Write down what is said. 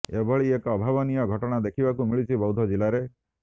ଏଭଳି ଏକ ଅଭାବନୀୟ ଘଟଣା ଦେଖିବାକୁ ମିଳିଛି ବୌଦ୍ଧ ଜିଲ୍ଲାରେ